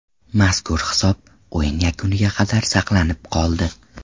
Mazkur hisob o‘yin yakuniga qadar saqlanib qoldi.